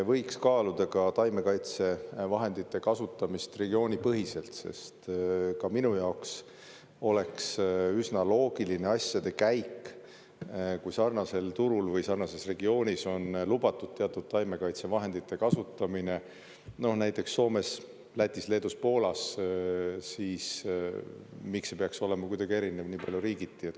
Võiks kaaluda ka taimekaitsevahendite kasutamist regioonipõhiselt, sest ka minu jaoks oleks üsna loogiline asjade käik, kui sarnasel turul või sarnases regioonis on lubatud teatud taimekaitsevahendite kasutamine, näiteks Soomes, Lätis, Leedus, Poolas, siis miks ei peaks olema kuidagi erinev nii palju riigiti.